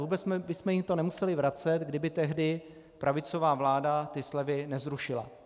Vůbec bychom jim to nemuseli vracet, kdyby tehdy pravicová vláda ty slevy nezrušila.